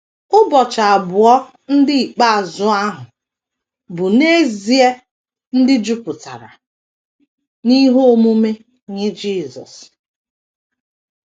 Ụbọchị abụọ ndị ikpeazụ ahụ bụ n’ezie ndị jupụtara n’ihe omume nye Jisọs.